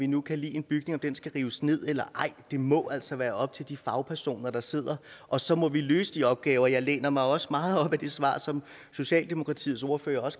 nu kan lide en bygning og om den skal rives ned eller ej det må altså være op til de fagpersoner der sidder og så må vi løse de opgaver jeg læner mig også meget op af det svar som socialdemokratiets ordfører